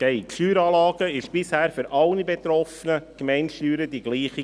Die Steueranlage war bisher für alle betroffenen Gemeindesteuern dieselbe.